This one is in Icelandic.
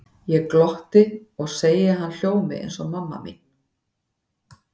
Ég glotti og segi að hann hljómi eins og mamma mín.